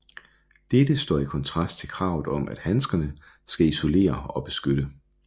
Dette står i kontrast til kravet om at handskerne skal isolere og beskytte